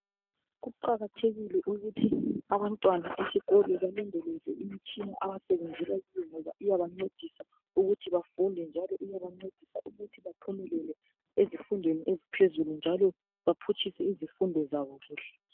Kuqakathekile ukuthi abantwana esikolo balondoloze imitshina abasebenzela kiyo ngoba iyabancedisa ukuthi bafunde njalo iyabancedisa ukuthi baphumelele ezifundweni eziphezulu njalo baphutshise izifundo zabo kuhle.